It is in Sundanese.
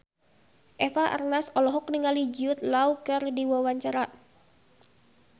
Eva Arnaz olohok ningali Jude Law keur diwawancara